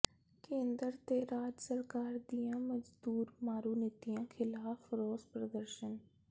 ਕੇਂਦਰ ਤੇ ਰਾਜ ਸਰਕਾਰ ਦੀਆਂ ਮਜ਼ਦੂਰ ਮਾਰੂ ਨੀਤੀਆਂ ਖ਼ਿਲਾਫ਼ ਰੋਸ ਪ੍ਰਦਰਸ਼ਨ